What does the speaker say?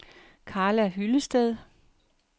Carla Hyllested